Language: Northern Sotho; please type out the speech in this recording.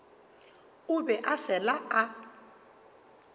o be a fela a